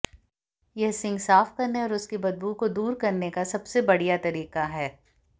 यह सिंक साफ करने और उसकी बदबू को दूर करने का सबसे बढ़िया तरीका है